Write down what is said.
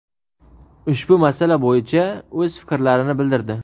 ushbu masala bo‘yicha o‘z fikrlarini bildirdi.